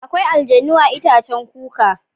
Akwai aljannu a itaccen kuka.